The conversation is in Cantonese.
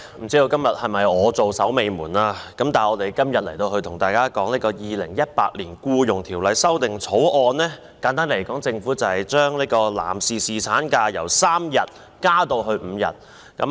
主席，不知我是否今天最後一位發言的議員，今天討論的《2018年僱傭條例草案》，簡單來說，是政府把男士侍產假由3日增加至5日。